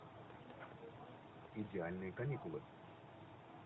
идеальные каникулы